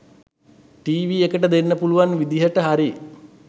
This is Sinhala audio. ටීවි එකට දෙන්න පුලුවන් විදියට හරි